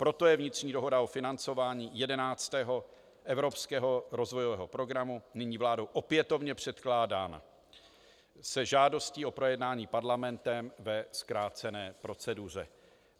Proto je vnitřní dohoda o financování 11. Evropského rozvojového programu nyní vládou opětovně předkládána s žádostí o projednání Parlamentem ve zkrácené proceduře.